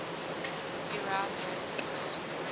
iran air force